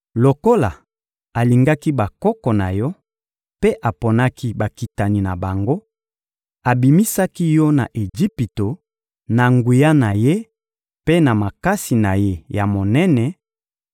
Lokola alingaki bakoko na yo mpe aponaki bakitani na bango, abimisaki yo na Ejipito na nguya na Ye mpe na makasi na Ye ya monene